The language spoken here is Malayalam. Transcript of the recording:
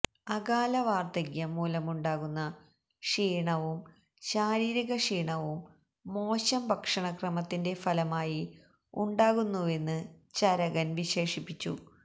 അകാല വാർദ്ധക്യം മൂലമുണ്ടാകുന്ന ക്ഷീണവും ശാരീരിക ക്ഷീണവും മോശം ഭക്ഷണക്രമത്തിന്റെ ഫലമായി ഉണ്ടാകുന്നുവെന്ന് ചരകൻ വിശേഷിപ്പിച്ചു